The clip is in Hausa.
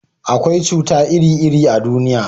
akwai cuta iri iri a duniya